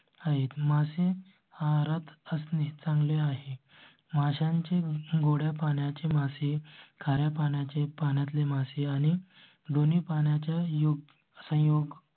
आहेत. मासे आहारात असणे चांगले आहे. माशांचे गोड्या, पाण्याची मासळी, कार्य पाण्याचे पाण्या तले मासे आहे. दोन्ही पाण्याच्या योग्य संयोग.